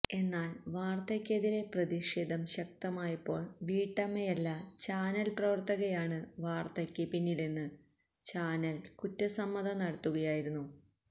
എന്നാല് വാര്ത്തയ്ക്കെതിരെ പ്രതിഷേധം ശക്തമായപ്പോള് വീട്ടമ്മയല്ല ചാനല് പ്രവര്ത്തകയാണ് വാര്ത്തയ്ക്ക് പിന്നില്ലെന്ന് ചാനല് കുറ്റസമ്മതം നടത്തുകയായിരുന്നു